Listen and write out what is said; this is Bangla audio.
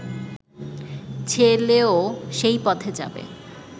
ছেলেও সেই পথে যাবে